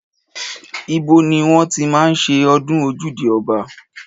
Ibo ni wọ́n ti máa ń ṣe ọdún ojúde ọba?